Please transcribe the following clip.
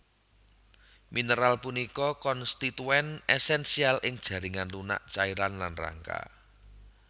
Mineral punika konstituen esensial ing jaringan lunak cairan lan rangka